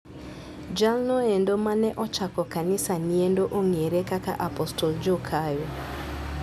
Jalnoendo mane ochako kanisa niendo ong'ere kaka Apostle Joe Kayo.